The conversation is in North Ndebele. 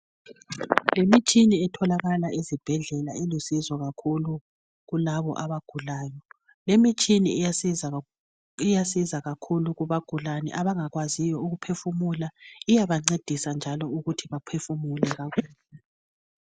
Imitshini etholakala ezibhedlela elusizo kakhulu kulabo abagulayo lemitshini iyasiza kakhulu kubagulani abangakwaziyo ukuphefumula iyabancedisa njalo ukuthi baphefumule kakuhle